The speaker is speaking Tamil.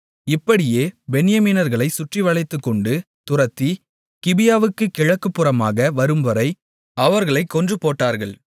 இப்படியே பென்யமீனர்களை சுற்றிவளைத்துக்கொண்டு துரத்தி கிபியாவுக்குக் கிழக்குப்புறமாக வரும்வரை அவர்களைக் கொன்றுபோட்டார்கள்